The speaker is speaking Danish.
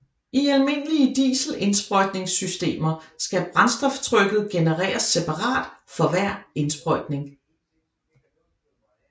I almindelige dieselindsprøjtningssystemer skal brændstoftrykket genereres separat for hver indsprøjtning